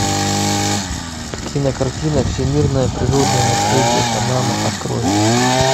кинокартина всемирное природное наследие панама открой